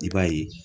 I b'a ye